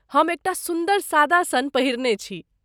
हम एकटा सुन्दर सादा सन पहिरने छी।